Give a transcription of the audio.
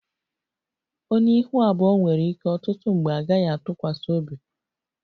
Onye ihu abụọ nwere ike ọtụtụ mgbe a gaghị atụkwasị obi